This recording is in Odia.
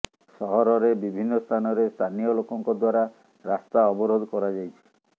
ସହରରେ ବିଭିନ୍ନ ସ୍ଥାନରେ ସ୍ଥାନୀୟ ଲୋକଙ୍କ ଦ୍ୱାରା ରାସ୍ତା ଅବରୋଧ କରାଯାଇଛି